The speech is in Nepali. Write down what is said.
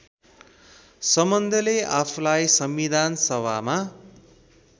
सम्बन्धले आफूलाई संविधानसभामा